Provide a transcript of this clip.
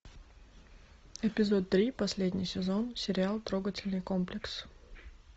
эпизод три последний сезон сериал трогательный комплекс